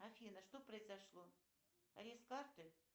афина что произошло арест карты